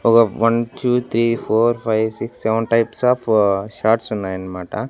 ఒక one two three four five six seven types of shorts ఉన్నాయి అన్నమాట.